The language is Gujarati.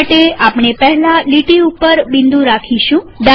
આના માટેઆપણે પહેલા લીટી ઉપર બિંદુ રાખીશું